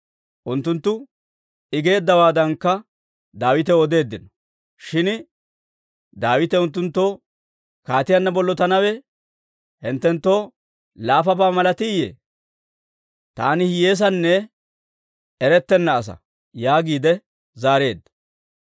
Unttunttu I geeddawaadankka Daawitaw odeeddino; shin Daawite unttunttoo, «kaatiyaanna bollotanawe hinttenttoo laafabaa malatiiyye? Taani hiyyeessanne erettenna asaa» yaagiide zaareedda.